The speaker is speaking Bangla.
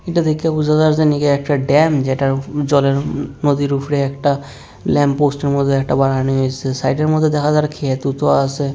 এটা দেখে বুঝা যায় নাকি একটা ড্যাম যেটা জলের নদীর উপরে একটা ল্যাম্পপোস্টের মধ্যে একটা বানানো হইসে সাইডের মধ্যে দেখা যায় একটা ক্ষেতওতো আসে।